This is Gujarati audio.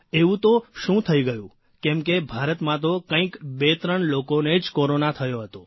એવું તો શું થઇ ગયું કેમ કે ભારતમાં તો કંઇક બેત્રણ લોકોને જ કોરોના થયો હતો